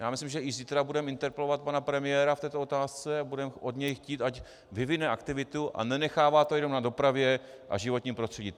Já myslím, že i zítra budeme interpelovat pana premiéra v této otázce a budeme od něj chtít, ať vyvine aktivitu a nenechává to jenom na dopravě a životním prostředí.